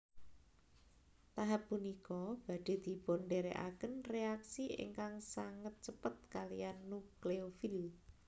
Tahap punika badhe dipundereaken reaksi ingkang sanget cepet kaliyan nukleofil